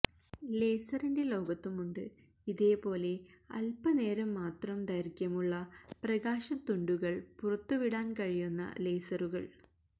ലേസറിന്റെ ലോകത്തുമുണ്ട് ഇതേപോലെ അല്പനേരം മാത്രം ദൈര്ഘ്യമുള്ള പ്രകാശത്തുണ്ടുകള് പുറത്തുവിടാന് കഴിയുന്ന ലേസറുകള്